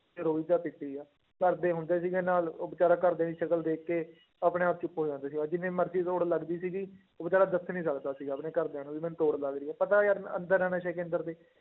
ਕਿ ਰੋਈ ਜਾ ਪਿੱਟੀ ਜਾ, ਘਰਦੇ ਹੁੰਦੇ ਸੀਗੇ ਨਾਲ ਉਹ ਬੇਚਾਰਾ ਘਰਦਿਆਂ ਦੀ ਸ਼ਕਲ ਦੇਖ ਕੇ ਆਪਣੇ ਆਪ 'ਚ ਖੋ ਜਾਂਦਾ ਸੀਗਾ, ਜਿੰਨੀ ਮਰਜ਼ੀ ਤੋੜ ਲੱਗਦੀ ਸੀਗੀ ਉਹ ਬੇਚਾਰਾ ਦੱਸ ਨੀ ਸਕਦਾ ਸੀਗਾ ਆਪਣੇ ਘਰਦਿਆਂ ਨੂੰ ਵੀ ਮੈਨੂੰ ਤੋੜ ਲੱਗ ਰਹੀ ਹੈ ਪਤਾ ਯਾਰ ਮੈਂ ਅੰਦਰ ਹਾਂ ਨਸ਼ੇ ਕੇਂਦਰ ਦੇ।